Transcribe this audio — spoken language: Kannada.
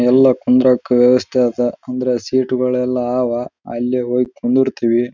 ಹುಷಾರ್ ಇಲ್ದಿದ್ದವರು ಅಲ್ಲಿ ಎಲ್ಲರೂ ನಡ್ಕೊಂಡು ಬರ್ತಾ ಇದ್ರೆ ಸುಸ್ತ ಆದರೆ ಅಲ್ಲಿ ಕುತ್ಕೊಂಡು ಸ್ವಲ್ಪಹೊತ್ತು ಅಲ್ಲಿ ಕೂತ್ಕೊಂಡು ವಿಶ್ರಾಂತಿ ತಗೊಲೀ ಅನ್ನೋಕೋಸ್ಕರ.